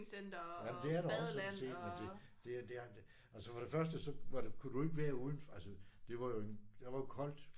Ja men det er der også sådan set men det det det er altså for det første du kunne jo ikke være udenfor. Altså det var jo en der var jo koldt